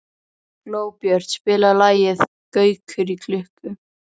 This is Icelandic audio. Glóbjört, spilaðu lagið „Gaukur í klukku“.